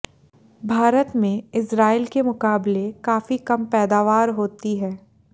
भारत में इजरायल के मुकाबले काफी कम पैदावार होती है